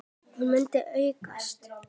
Hún muni aukast!